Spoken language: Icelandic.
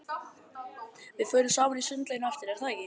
Við förum saman í sundlaugina á eftir, er það ekki?